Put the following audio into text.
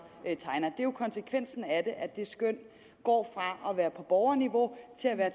jo konsekvensen af det at det skøn går fra at være på borgerniveau til at være